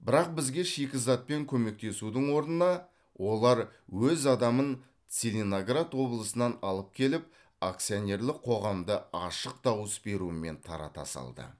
бірақ бізге шикізатпен көмектесудің орнына олар өз адамын целиноград облысынан алып келіп акционерлік қоғамды ашық дауыс берумен тарата салды